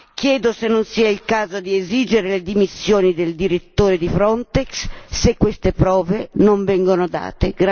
Chiedo se non sia il caso di esigere le dimissioni del direttore di Frontex se queste prove non vengono date.